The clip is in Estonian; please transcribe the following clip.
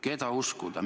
Keda uskuda?